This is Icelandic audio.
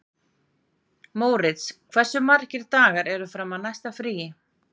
Mórits, hversu margir dagar fram að næsta fríi?